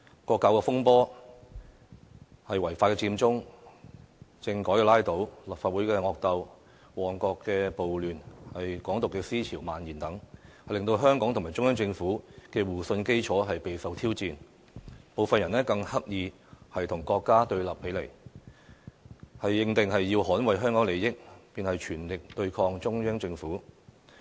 國教風波、違法佔中、政改拉倒、立法會惡鬥、旺角暴亂、港獨思潮蔓延等，都令香港和中央政府的互信基礎備受挑戰，部分人更刻意與國家對立起來，認定要捍衞香港利益，便要全力對抗中央政府。